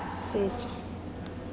setso